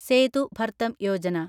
Sethu Bharatam Yojana